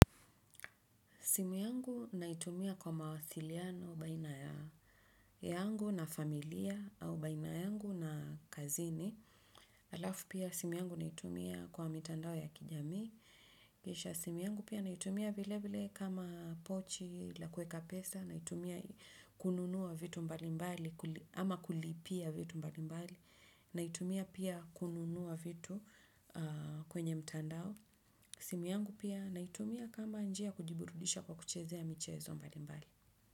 Simu yangu naitumia kwa mawasiliano baina yangu na familia, au baina yangu na kazini. Alafu pia simu yangu naitumia kwa mitandao ya kijami. Kisha simu yangu pia naitumia vilevile kama pochi la kueka pesa, naitumia kununua vitu mbalimbali ama kulipia vitu mbalimbali, naitumia pia kununua vitu kwenye mitandao. Simu yangu pia naitumia kama njia ya kujiburudisha kwa kuchezea michezo mbali mbali.